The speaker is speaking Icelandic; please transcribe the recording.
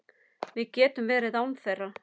Við getum verið án þeirra.